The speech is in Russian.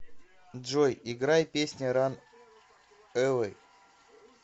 джой играй песня ран эвэй